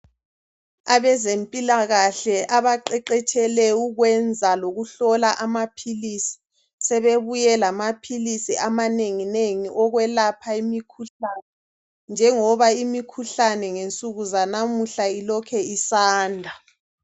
Abezempilakahle abaqaqatshele ukwenza lokuhlola amaphilisi sebebuye lamaphilisi amanenginengi njengoba imikhuhlane ngensuku zanamuhla ilokhe isanda.